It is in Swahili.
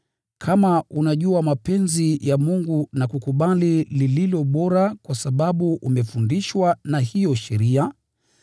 kama unajua mapenzi ya Mungu na kukubali lililo bora kwa sababu umefundishwa na hiyo sheria,